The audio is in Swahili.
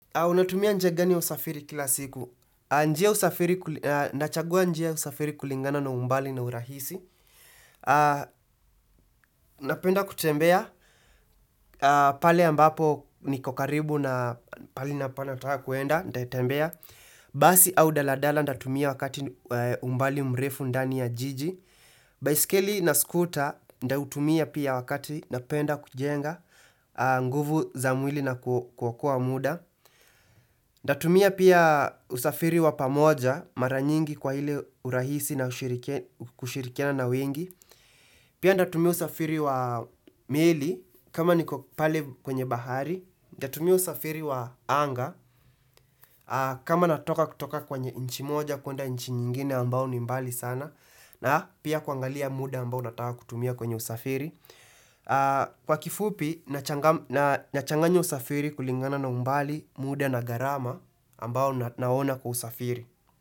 Unatumia njia gani ya usafiri kila siku? Nachagua njia ya usafiri kulingana na umbali na urahisi. Napenda kutembea. Pale ambapo niko karibu na pahali nataka kuenda. Nitatembea Basi au daladala ntatumia wakati umbali mrefu ndani ya jiji. Baiskeli na skuta nitautumia pia wakati napenda kujenga. Nguvu za mwili na kuokoa muda. Nitatumia pia usafiri wa pamoja mara nyingi kwa ile urahisi na kushirikiana na wengi. Pia nitatumia usafiri wa meli kama niko pale kwenye bahari. Nitatumia usafiri wa anga kama natoka kutoka kwenye inchi moja kuenda inchi nyingine ambao ni mbali sana. Na pia kuangalia muda ambao nataka kutumia kwenye usafiri. Kwa kifupi, nachanganya usafiri kulingana na umbali, muda na gharama ambao naona kusafiri.